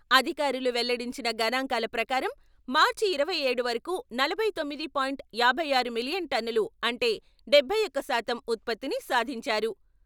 అధికారులు వెల్లడించిన గణాంకాల ప్రకారం మార్చి ఇరవై ఏడు వరకు నలభై తొమ్మిది పాయింట్ ఐదు ఆరు మిలియన్ టన్నులు అంటే డబ్బై ఒకటి శాతం ఉత్పత్తిని సాధించారు.